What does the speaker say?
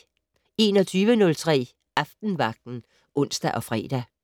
21:03: Aftenvagten (ons og fre)